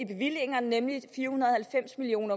bevillingerne nemlig fire hundrede og halvfems million